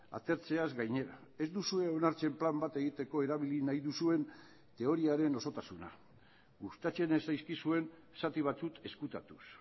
atertzeaz gainera ez duzue onartzen plan bat egiteko erabili nahi duzuen teoriaren osotasuna gustatzen ez zaizkizuen zati batzuk ezkutatuz